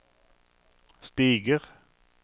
stiger